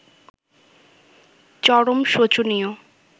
চরম শোচনীয়